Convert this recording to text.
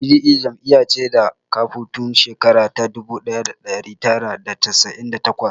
Pdp jam'iya ce da ta kafu tun shekara ta dubu ɗaya da ɗari tara da casa'in da takwas